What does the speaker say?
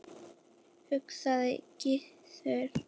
hugsaði Gizur.